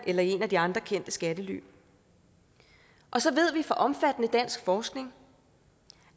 eller i et af de andre kendte skattely så ved vi også fra omfattende dansk forskning